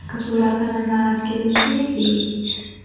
Akka suuraa kanarraa arginuttii,